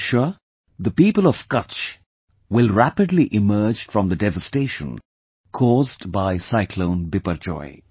I am sure the people of Kutch will rapidly emerge from the devastation caused by Cyclone Biperjoy